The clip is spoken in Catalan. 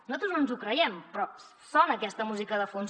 nosaltres no ens ho creiem però sona aquesta música de fons